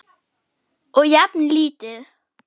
Og jafnan lítið.